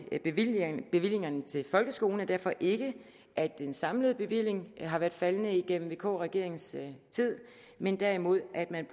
med bevillingerne bevillingerne til folkeskolen er derfor ikke at den samlede bevilling har været faldende gennem vk regeringens tid men derimod at man